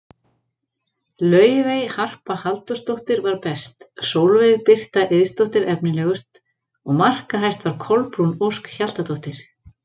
Laufey Harpa Halldórsdóttir var best, Sólveig Birta Eiðsdóttir efnilegust og markahæst var Kolbrún Ósk Hjaltadóttir.